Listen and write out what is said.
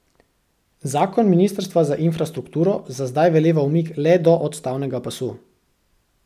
Zakon ministrstva za infrastrukturo za zdaj veleva umik le do odstavnega pasu.